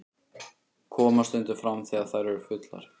Koma stundum fram þegar þær eru fullar.